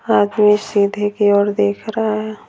आदमी सीधे की ओर देख रहा है।